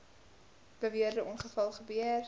beweerde ongeval gebeur